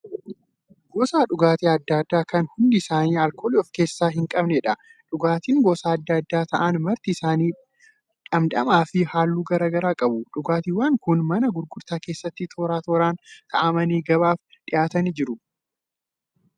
Gosa dhugaatii adda addaa kan hundi isaanii alkoolii of keessaa hin qabnedha. Dhugaatiin gosaan adda ta'an marti isaanii dhamdhamaafi halluu garaagaraa qabu. Dhugaatiiwwan kun mana gurgurtaa keessatti toora tooraan kaa'amanii gabaaf dhiyaatanii jiru.